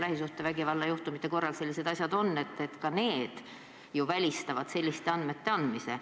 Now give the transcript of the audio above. Lähisuhtevägivalla juhtumite korral ju välistatakse selliste andmete andmine.